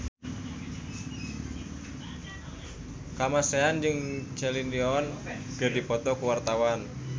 Kamasean jeung Celine Dion keur dipoto ku wartawan